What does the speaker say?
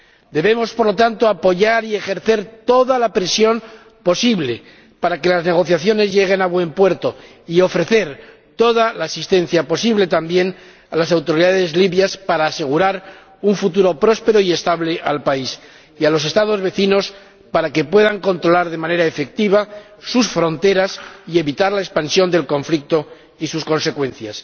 Debemos, por lo tanto, apoyar y ejercer toda la presión posible para que las negociaciones lleguen a buen puerto y ofrecer toda la asistencia posible también a las autoridades libias para asegurar un futuro próspero y estable tanto al país como a los Estados vecinos, para que puedan controlar de manera efectiva sus fronteras y evitar la expansión del conflicto y sus consecuencias.